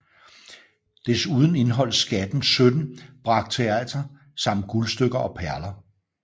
Desuden indeholdt skatten 17 brakteater samt guldstykker og perler